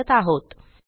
वापरत आहोत